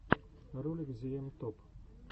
ролик зиэм топ